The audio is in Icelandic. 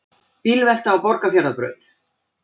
Bílvelta á Borgarfjarðarbraut